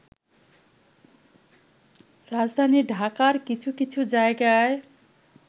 রাজধানী ঢাকার কিছু কিছু জায়গায়